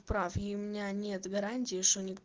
прав и у меня нет гарантии что